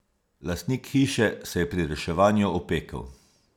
Lastnik hiše se je pri reševanju opekel.